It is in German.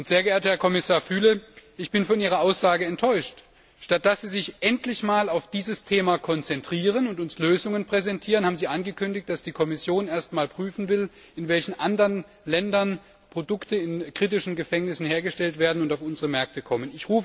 Sehr geehrter Herr Kommissar Füle, ich bin von Ihrer Aussage enttäuscht. Statt sich endlich einmal auf dieses Thema zu konzentrieren und uns Lösungen zu präsentieren, haben Sie angekündigt, dass die Kommission erst einmal prüfen will, in welchen anderen Ländern Produkte in kritischen Gefängnissen hergestellt werden und auf unsere Märkte kommen.